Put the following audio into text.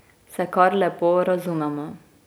Se kar lepo razumemo.